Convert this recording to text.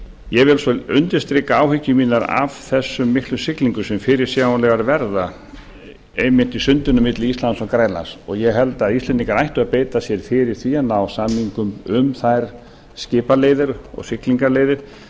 ég vil svo undirstrika áhyggjur mínar af þessum miklu siglingum sem fyrirsjáanlegar verða einmitt í sundinu milli íslands og grænlands ég held að íslendingar ættu að beita sér fyrir því að ná samningum um þær skipaleiðir og siglingaleiðir